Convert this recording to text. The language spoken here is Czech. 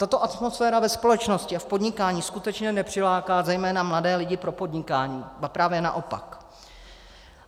Tato atmosféra ve společnosti a v podnikání skutečně nepřiláká zejména mladé lidi pro podnikání, ba právě naopak.